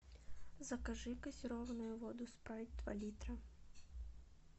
закажи газированную воду спрайт два литра